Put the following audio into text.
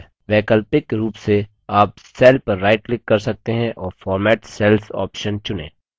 वैकल्पिक रूप से आप cell पर right click कर सकते हैं और format cells option चुनें